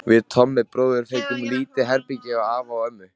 Við Tommi bróðir fengum lítið herbergi hjá afa og ömmu.